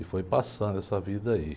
E foi passando essa vida aí.